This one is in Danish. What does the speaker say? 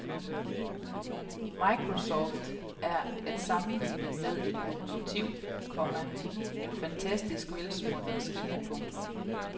Microsoft er at sammenligne med et lokomotiv, komma en fantastisk velsmurt maskine. punktum